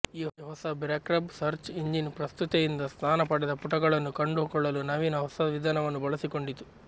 ಈ ಹೊಸ BackRub search engine ಪ್ರಸ್ತುತತೆಯಿಂದ ಸ್ಥಾನ ಪಡೆದ ಪುಟಗಳನ್ನು ಕಂಡುಕೊಳ್ಳಲು ನವೀನ ಹೊಸ ವಿಧಾನವನ್ನು ಬಳಸಿಕೊಂಡಿತು